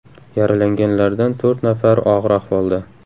Yaralanganlardan to‘rt nafari og‘ir ahvolda.